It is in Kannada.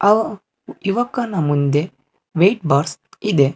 ಆ ಯುವಕನ ಮುಂದೆ ವೆಯಿಟ್ ಬಾರ್ಸ್ ಇದೆ.